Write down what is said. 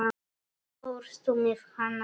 Fórstu með hana heim?